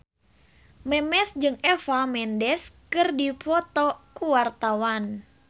Memes jeung Eva Mendes keur dipoto ku wartawan